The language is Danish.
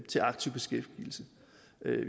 til aktiv beskæftigelse